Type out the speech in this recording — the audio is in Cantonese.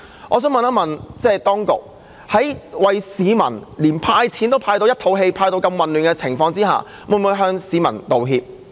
我想問，連派錢給市民也令市民一肚氣，派得這麼混亂，當局會否向市民道歉？